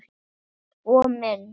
Sko minn.